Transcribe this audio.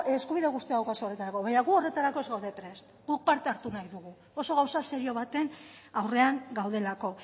eskubide osoa daukazue horretarako baina gu horretarako ez gaude prest guk parte hartu nahi dugu oso gauza serio baten aurrean gaudelako